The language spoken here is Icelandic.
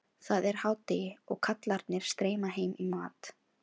Það er hádegi og kallarnir streyma heim í mat.